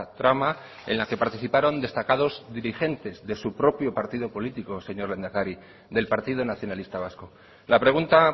trama en la que participaron destacados dirigentes de su propio partido político señor lehendakari del partido nacionalista vasco la pregunta